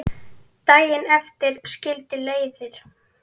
Daginn eftir skildu leiðir.